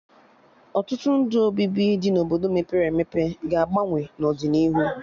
Ọtụtụ ndụ obibi dị na Obodo mepere emepe ga-agbanwe n'ọdịnihu